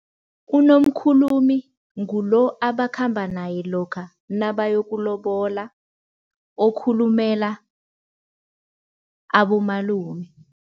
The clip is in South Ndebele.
UNomkhulumi ngulo abakhamba naye lokha nabayokulobola, okhulumela abomalume.